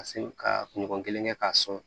Ka se ka kunɲɔgɔn kelen kɛ k'a sɔn